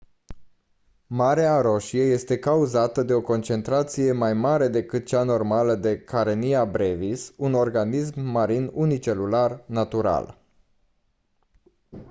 mareea roșie este cauzată de o concentrație mai mare decât cea normală de karenia brevis un organism marin unicelular natural